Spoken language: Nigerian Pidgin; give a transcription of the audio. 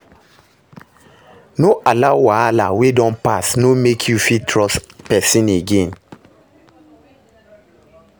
No allow wahala wey don pass no mek you fit trust pesin again